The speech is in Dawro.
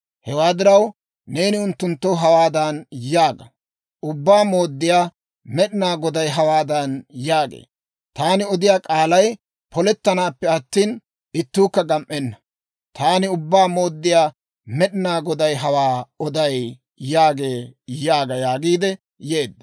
Hewaa diraw, neeni unttunttoo hawaadan yaaga; ‹Ubbaa Mooddiyaa Med'inaa Goday hawaadan yaagee; «Taani odiyaa k'aalay polettanaappe attina, ittuukka gam"enna. Taani Ubbaa Mooddiyaa Med'inaa Goday hawaa oday» yaagee› yaaga» yaagiidde yeedda.